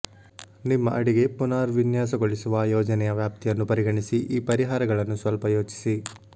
ನಿಮ್ಮ ಅಡಿಗೆ ಪುನರ್ವಿನ್ಯಾಸಗೊಳಿಸುವ ಯೋಜನೆಯ ವ್ಯಾಪ್ತಿಯನ್ನು ಪರಿಗಣಿಸಿ ಈ ಪರಿಹಾರಗಳನ್ನು ಸ್ವಲ್ಪ ಯೋಚಿಸಿ